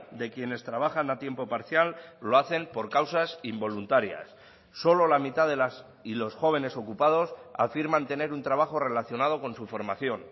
de quienes trabajan a tiempo parcial lo hacen por causas involuntarias solo la mitad de las y los jóvenes ocupados afirman tener un trabajo relacionado con su formación